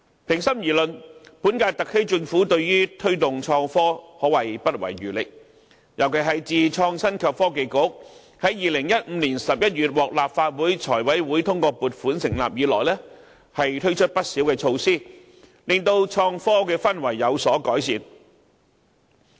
平心而論，本屆特區政府對於推動創科可謂不遺餘力，尤其是自從創新及科技局在2015年11月獲立法會財務委員會通過撥款成立以來，推出不少措施，令本港創科的氛圍有所改善。